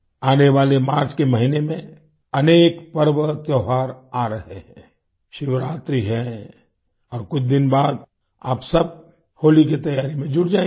आने वाले मार्च के महीने में अनेक पर्वत्योहार आ रहे हैं शिवरात्रि है और अब कुछ दिन बाद आप सब होली की तैयारी में जुट जाएंगे